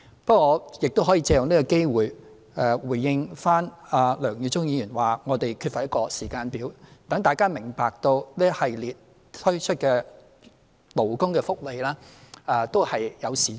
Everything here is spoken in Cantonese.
梁耀忠議員亦指我們缺乏一個時間表，我想藉此機會回應，讓大家明白這一系列推出的勞工福利措施都是有時序的。